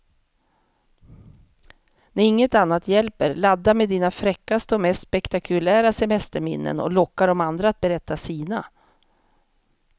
När inget annat hjälper, ladda med dina fräckaste och mest spektakulära semesterminnen och locka de andra att berätta sina.